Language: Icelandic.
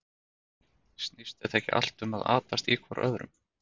Snýst þetta ekki allt um að atast í hvor öðrum?